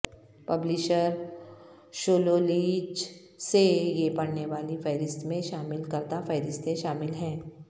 publisher شولولیچ سے یہ پڑھنے والی فہرست میں شامل کردہ فہرستیں شامل ہیں